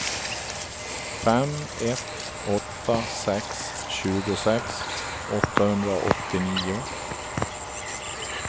fem ett åtta sex tjugosex åttahundraåttionio